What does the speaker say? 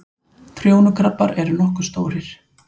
Trjónukrabbar eru nokkuð stórir.